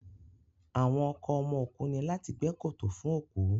Àwọn ọkọ ọmọ òkú ní láti gbẹ́ kòtò fún òkú